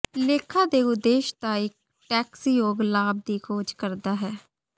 ਲੇਖਾ ਦੇ ਉਦੇਸ਼ ਦਾ ਇਕ ਟੈਕਸਯੋਗ ਲਾਭ ਦੀ ਖੋਜ ਕਰਦਾ ਹੈ